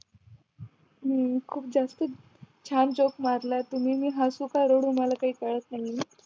हम्म खूप जास्त छान जोक मारला तुम्ही मी हसू का रडू मला काय कळत नाही ये